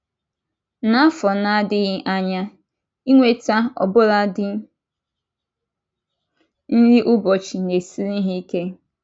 N’afọ na - adịghị anya, inweta ọbụladi nri ụbọchị na -esiri ha ike.